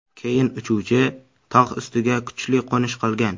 Keyin uchuvchi tog‘ ustiga kuchli qo‘nish qilgan.